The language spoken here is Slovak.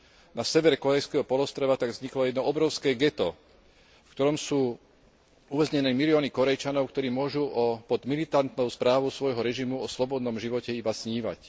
Na severe Kórejského polostrova tak vzniklo jedno obrovské geto, v ktorom sú uväznené milióny Kórejčanov, ktorí môžu pod militantnou správou svojho režimu o slobodnom živote iba snívať.